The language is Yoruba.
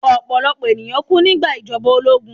Ọ̀pọ̀lọ̀pọ̀ ènìyàn kú nígbà ìjọba ológun